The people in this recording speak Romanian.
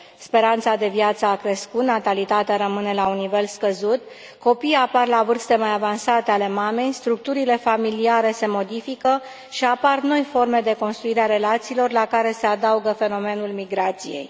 Speranța de viață a crescut, natalitatea rămâne la un nivel scăzut, copiii apar la vârste mai avansate ale mamei, structurile familiale se modifică și apar noi forme de construire a relațiilor, la care se adaugă fenomenul migrației.